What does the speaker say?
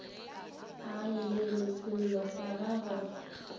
a llelwe sello sa gagwe